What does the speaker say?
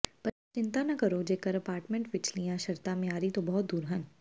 ਪਰ ਚਿੰਤਾ ਨਾ ਕਰੋ ਜੇਕਰ ਅਪਾਰਟਮੈਂਟ ਵਿਚਲੀਆਂ ਸ਼ਰਤਾਂ ਮਿਆਰੀ ਤੋਂ ਬਹੁਤ ਦੂਰ ਹਨ